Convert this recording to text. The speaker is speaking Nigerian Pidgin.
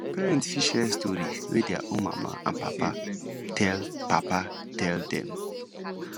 parents fit share story wey their own mama and papa tell papa tell dem